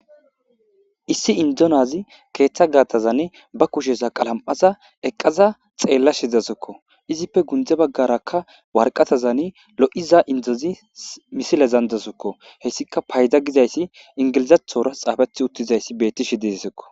issi indonazi keeththa gaatazan ba kushesa qalam7aza eqqaza xeella shidasukko izippe gundze baggarakka warqatazani lo7iza indozi misile zandasukko hessika payda gizayssi ingilizathora xaafethi uttizayssi bettishi dezesekko